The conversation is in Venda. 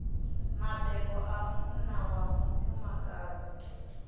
mabebo a munna na mufumakadzi